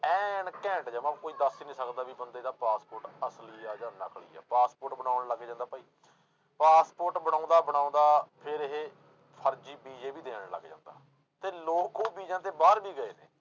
ਐਨ ਘੈਂਟ ਜਮਾ ਕੋਈ ਦੱਸ ਹੀ ਨੀ ਸਕਦਾ ਵੀ ਬੰਦੇ ਦਾ ਪਾਸਪੋਰਟ ਅਸਲੀ ਆ ਜਾਂ ਨਕਲੀ ਆ, ਪਾਸਪੋਰਟ ਬਣਾਉਣ ਲੱਗ ਜਾਂਦਾ ਭਾਈ, ਪਾਸਪੋਰਟ ਬਣਾਉਂਦਾ ਬਣਾਉਂਦਾ ਫਿਰ ਇਹ ਫ਼ਰਜ਼ੀ ਵੀਜ਼ੇ ਵੀ ਦੇਣ ਲੱਗ ਜਾਂਦਾ, ਤੇ ਲੋਕ ਉਹ ਵੀਜ਼ਿਆਂ ਤੇ ਬਾਹਰ ਵੀ ਗਏ ਨੇ।